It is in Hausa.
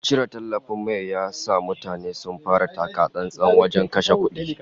Cire tallafin mai ya sa mutane sun fara taka-tsantsan wajen kashe kudade